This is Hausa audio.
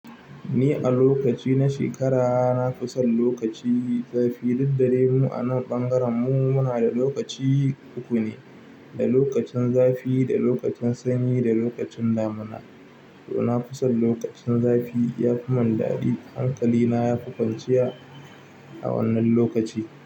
Ni a lokaci na shekara na fi son lokaci zafi, duk da dai mu a nan ɓangaren mu muna da lokaci uku ne, da lokacin zafi, da lokacin sanyi da lokacin damuna. To nafi san lokacin zafi ya fi mun daɗi, hankali na ya fi kwanciya a wannan lokaci.